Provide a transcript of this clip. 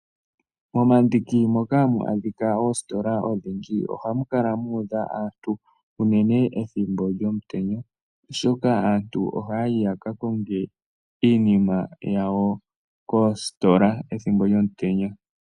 Momandiki moka hamu adhika oositola odhindji, ohamu kala muudha aantu uunene ethimbo lyomutenya oshoka aantu ohayayi yakakonge iinima yawo koositola ethimbo lyomutenya.